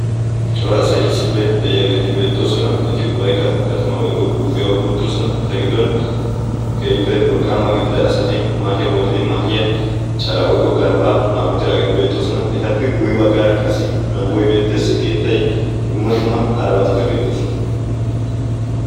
Cora asay issippe de'iyageeti beettoosona. Eti ubbaykka gatimaa woykko guufiya oykki uttidosona. Eta giddon keehippe wolqqaama gidida asati maahiya woridi maahiya calaa woykko galbbaa maayi uttidaageeti beettoosona. Etappe guyye baggaara qassi manggoy beettees keettay dumma dumma harabatikka beettoosona.